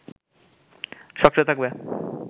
সক্রিয় থাকবে